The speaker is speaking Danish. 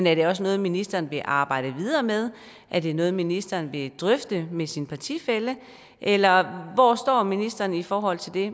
er det også noget ministeren vil arbejde videre med er det noget ministeren vil drøfte med sin partifælle eller hvor står ministeren i forhold til det